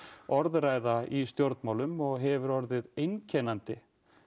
orðræða í stjórnmálum og hefur orðið einkennandi